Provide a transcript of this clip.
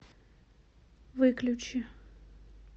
выключи